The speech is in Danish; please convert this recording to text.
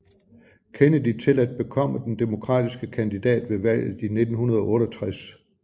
Kennedy til at bekomme den demokratiske kandidat ved valget i 1968